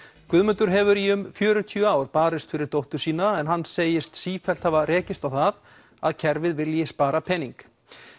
Guðmundur hefur í um fjörutíu ár barist fyrir dóttur sína en hann segir sífellt hafa rekist á það að kerfið vilji spara pening